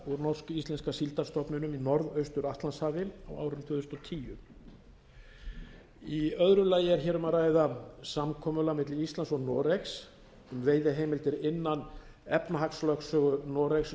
úr norsk íslenska síldarstofninum í norðaustur atlantshafi á árinu tvö þúsund og tíu í öðru lagi er hér um að ræða samkomulagi milli íslands og noregs um veiðiheimildir innan efnahagslögsögu noregs